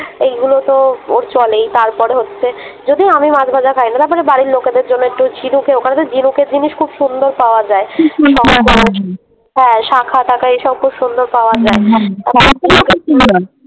এগুলো তো ও চলেই তারপরে হচ্ছে যদিও আমি মাছ ভাজা খাইনি তারপরে বাড়ির লোকেদের জন্যে একটু ঝিনুকে ওখানে তো ঝিনুকের জিনিস খুব সুন্দর পাওয়া যায় হ্যাঁ শাঁখা টাখা এই সব খুব সুন্দর পাওয়া যায়।